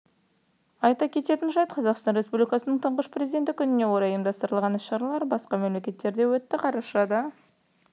айта кететін жайт қазақстан республикасының тұңғыш президенті күніне орай ұймдастырылған іс-шаралар басқа да мемлекеттерде өтті қарашада